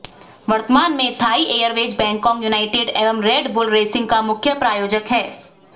वर्त्तमान में Thai Airways Bangkok United एवं रेड बुल रेसिंग का मुख्य प्रायोजक हैं